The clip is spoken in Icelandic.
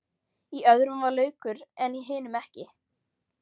Í öðrum var laukur en hinum ekki.